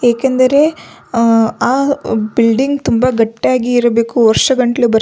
ಏಕೆಂದರೆ ಆ ಬಿಲ್ಡಿಂಗ್ ತುಂಬ ಗಟ್ಟಿಯಾಗಿ ಇರ್ಬೇಕು ವರ್ಷಗಟ್ಟಲೆ --